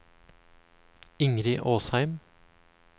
Ingrid Åsheim